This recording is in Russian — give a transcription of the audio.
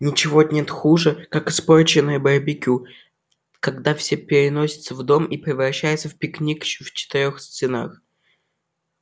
ничего нет хуже как испорченное барбекю когда всё переносится в дом и превращается в пикник в четырёх стенах